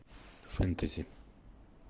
фэнтези